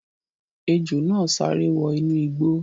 Ejò náà sáré wọ inú igbó